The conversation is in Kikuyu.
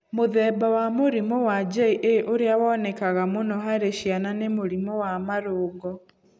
Mũthemba wa mũrimũ wa JA ũrĩa wonekanaga mũno harĩ ciana nĩ mũrimũ wa marũngo.